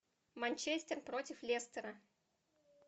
манчестер против лестера